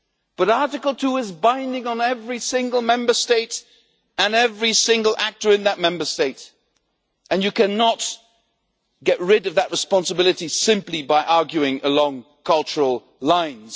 But Article 2 is binding on every single Member State and every single actor in that Member State, and you cannot get rid of that responsibility simply by arguing along cultural lines.